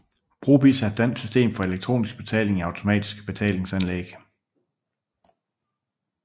Brobizz er et dansk system for elektronisk betaling i automatiske betalinganlæg